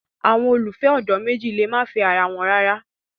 Awọn ololufẹ ọdọ meji le ma fẹ ara wọn rara